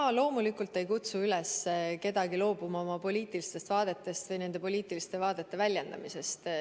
Ma loomulikult ei kutsu üles kedagi loobuma oma poliitilistest vaadetest või nende poliitiliste vaadete väljendamisest.